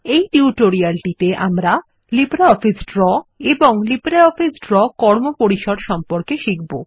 এই টিউটোরিয়ালটিতে আমরা লিব্রিঅফিস ড্রো এবং লিব্রিঅফিস ড্রো কর্মপরিসর সম্পর্কে শিখব